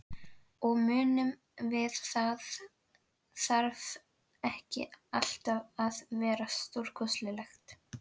Og munum að það þarf ekki alltaf eitthvað stórkostlegt til.